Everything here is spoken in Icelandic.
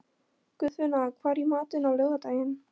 Guðfinna, hvað er í matinn á laugardaginn?